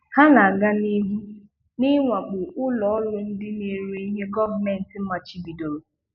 Ha na-aga n'ihu n'ịwakpo ulo oru ndị na-ere ihe gọọmenti machibidoro.